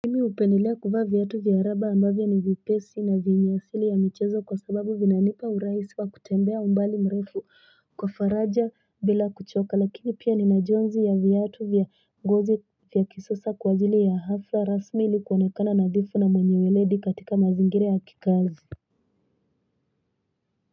Mimi hupendelea kuvaa vyatu vya raba ambavyo ni vipesi na venye asili ya michezo kwa sababu vinanipa urais wa kutembea umbali mrefu kwa faraja bila kuchoka lakini pia ni na jonzi ya viatu vya ngozi vya kisasa kw ajili ya hafla rasmi ili kuonekana nadhifu na mwenye weledi katika mazingira ya kikazi.